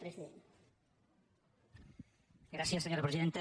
gràcies senyora presidenta